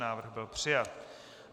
Návrh byl přijat.